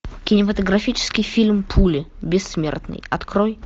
кинематографический фильм пули бессмертный открой